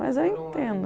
Mas eu entendo.